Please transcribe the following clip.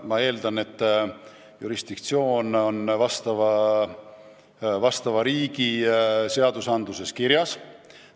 Ma eeldan, et asjaomane jurisdiktsioon on teiste riikide seadustes kirjas.